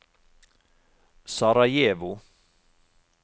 Sarajevo